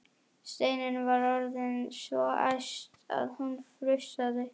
Steinunn var orðin svo æst að hún frussaði.